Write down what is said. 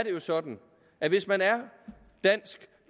jo sådan at hvis man er dansk